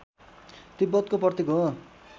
तिब्बतको प्रतीक हो